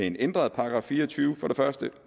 en ændret § fire og tyve